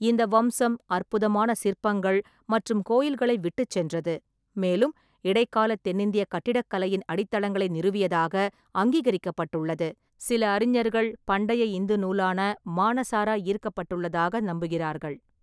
இந்த வம்சம் அற்புதமான சிற்பங்கள் மற்றும் கோயில்களை விட்டுச் சென்றது, மேலும் இடைக்கால தென்னிந்திய கட்டிடக்கலையின் அடித்தளங்களை நிறுவியதாக அங்கீகரிக்கப்பட்டுள்ளது, சில அறிஞர்கள் பண்டைய இந்து நூலான மானசார ஈர்க்கப்பட்டதாக நம்புகிறார்கள்.